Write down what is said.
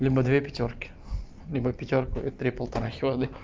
либо две пятёрки либо пятёрку и три полторахи воды